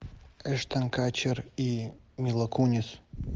эштон катчер и мила кунис